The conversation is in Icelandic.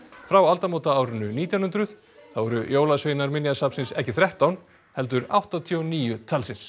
frá aldamótaárinu nítján hundruð þá eru jólasveinar Minjasafnsins ekki þrettán heldur áttatíu og níu talsins